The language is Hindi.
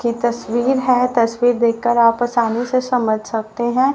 ये तस्वीर है तस्वीर देखकर आप आसानी से समझ सकते हैं।